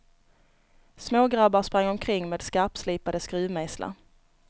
Smågrabbar sprang omkring med skarpslipade skruvmejslar.